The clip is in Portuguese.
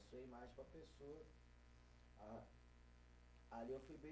Sua imagem para a pessoa, a, ali eu fui bem